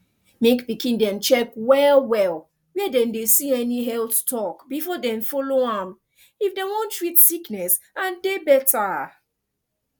mek pikin dem check well well where dem dey see any health talk before dem follow am if dem wan treat sickness and dey better